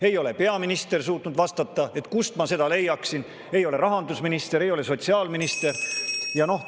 Ei ole peaminister suutnud vastata, kust ma seda leiaksin, ei ole ka rahandusminister ega sotsiaalminister vastanud.